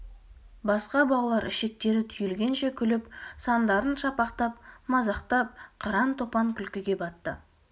басқа балалар ішектері түйілгенше күліп сандарын шапақтап мазақтап қыран-топан күлкіге батты